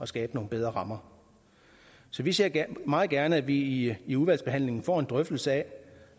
skabe nogle bedre rammer så vi ser meget gerne at vi i i udvalgsbehandlingen får en drøftelse af